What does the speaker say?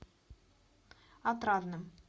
отрадным